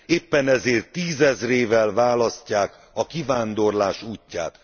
Éppen ezért tízezrével választják a kivándorlás útját.